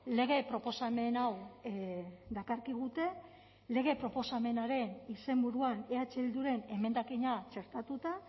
lege proposamen hau dakarkigute lege proposamenaren izenburuan eh bilduren emendakina txertatuta